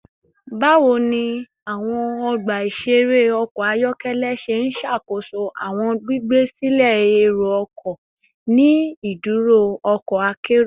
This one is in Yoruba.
Bawo ni awọn ọgba iṣere ọkọ ayọkẹlẹ ṣe n ṣakoso awọn gbigbe silẹ ero-ọkọ ni iduro ọkọ akero?